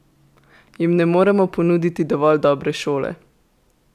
Jim mi ne moremo ponuditi dovolj dobre šole?